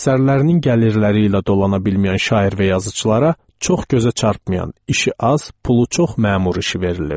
Əsərlərinin gəlirləri ilə dolana bilməyən şair və yazıçılara çox gözə çarpmayan, işi az, pulu çox məmur işi verilirdi.